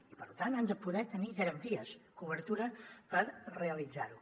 i per tant han de poder tenir garanties cobertura per realitzar ho